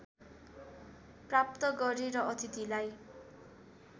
प्राप्त गरे र अतिथिलाई